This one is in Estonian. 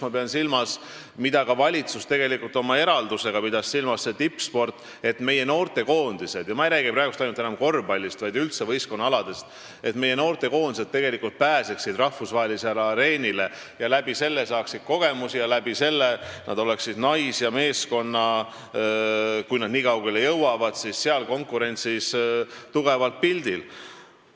Ma mõtlen seda, mida ka valitsus oma eraldisega tegelikult silmas pidas, et tippsportlased, meie noortekoondised – ma ei räägi praegu enam ainult korvpallist, vaid üldse võistkonnaaladest – pääseksid rahvusvahelisele areenile, saaksid sealt kogemusi ning oleksid tänu sellele nais- ja meeskondadena, kui nad kaugele jõuavad, konkurentsi mõttes tugevalt pildil.